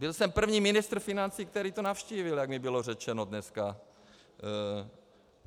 Byl jsem první ministr financí, který to navštívil, jak mi bylo řečeno dneska.